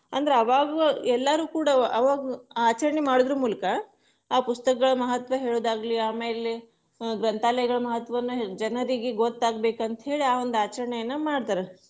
ಅಂದ್ರ ಅವಾಗ್ಲೂ ಎಲ್ಲರು ಕೂಡ ಅವಗು ಆಚರಣೆ ಮಾಡುದರ ಮೂಲಕ, ಆ ಪುಸ್ತಕಗಳ ಮಹತ್ವ ಹೇಳುದಾಗ್ಲಿ ಆಮೇಲೆ, ಗ್ರಂಥಾಲಯಗಳ ಮಹತ್ವನು ಜನರಿಗೆ ಗೊತ್ತಾಗ್ಬೇಕಂತ್ ಹೇಳಿ ಆ ಒಂದು ಆಚರಣೆಯನ್ನ ಮಾಡ್ತಾರೆ.